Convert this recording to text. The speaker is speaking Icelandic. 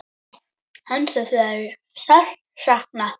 Hans er þegar sárt saknað.